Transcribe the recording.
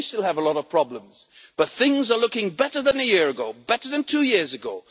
Yes, we still have a lot of problems, but things are looking better than a year ago, better than two years ago.